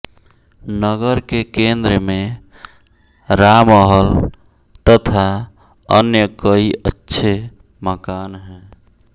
नगर के केंद्र में रामहल तथा अन्य कई अच्छे मकान हैं